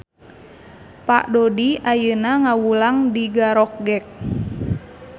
Pak Dodi ayeuna ngawulang di Garokgek